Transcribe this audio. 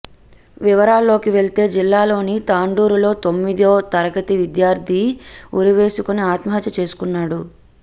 వివరాల్లోకి వెళ్తే జిల్లాలోని తాండూరులో తొమ్మిదో తరగతి విద్యార్థి ఉరివేసుకుని ఆత్మహత్య చేసుకున్నాడు